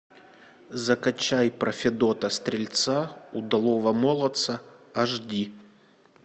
закачай про федота стрельца удалого молодца аш ди